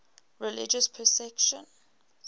religious persecution